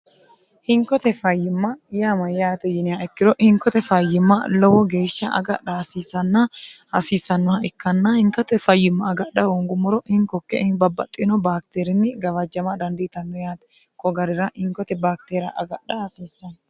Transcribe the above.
hinkote fayyimma yaa mayyaate yiniha ikkiro hinkote fayyimma lowo geeshsha agadha hasiisanna hasiissannoha ikkanna hinkote fayyimma agadha hongummoro hinkokke babbaxxino baakiteerinni gawajjama dandiitanno yaate ko garira hinkote baakteeria agadha asiissanno